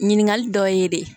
Ɲininkali dɔ ye de